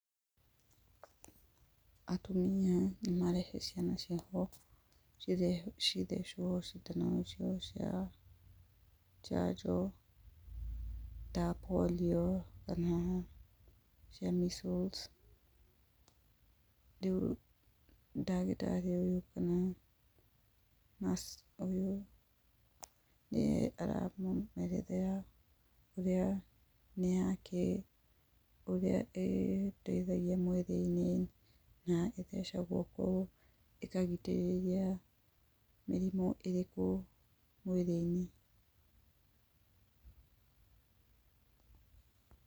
Atumia nĩmarehe ciana ciao cithecwo cindano ciao cia njanjo, ta polio kana cia measles. Riu ndagĩtarĩ ũyũ kana naci ũyũ, aramerethera nĩakĩ, ũrĩa ĩteithagia mwĩrĩ-inĩ, na ĩthecaguo kũũ, ikamũteithia mĩrimũ ĩrĩkũ mwĩrĩ-inĩ.